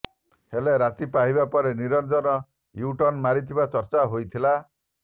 ହେଲେ ରାତି ପାହିବା ପରେ ନିରଞ୍ଜନ ୟୁଟର୍ଣ୍ଣ ମାରିଥିବା ଚର୍ଚ୍ଚା ହୋଇଥିଲା